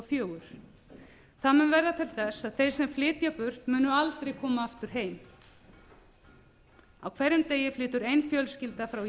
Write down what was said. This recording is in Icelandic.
fjögur það mun verða til þess að þeir sem flytja burt munu aldrei koma aftur heim á hverjum degi flytur ein fjölskylda frá